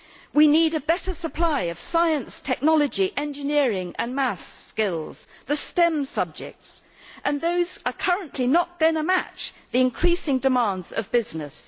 We need a better supply of science, technology, engineering and maths skills, the stem subjects, and those are currently not going to match the increasing demands of business.